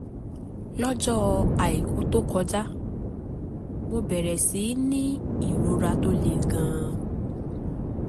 lọ́jọ́ àìkú tó kọjá mo bẹ̀rẹ̀ sí í ní ìrora tó le gan-an